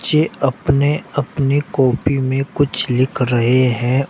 ये अपने अपने कॉपी में कुछ लिख रहे हैं।